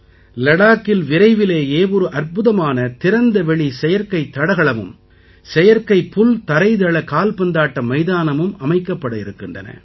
லடாக்கில் விரைவிலேயே ஒரு அற்புதமான திறந்தவெளி செயற்கைத் தடகளமும் செயற்கைப் புல்தரைதள கால்பந்தாட்ட மைதானமும் அமைக்கப்படவிருக்கின்றன